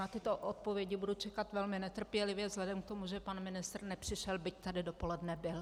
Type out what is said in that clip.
Na tyto odpovědi budu čekat velmi netrpělivě vzhledem k tomu, že pan ministr nepřišel, byť tady dopoledne byl.